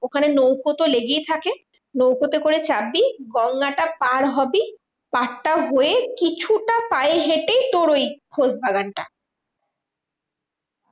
ওখানে নৌকো তো লেগেই থাকে। নৌকোতে করে চাপবি গঙ্গাটা পার হবি, পার টার হয়ে কিছুটা পায়ে হেঁটেই তোর ওই খোশবাগানটা।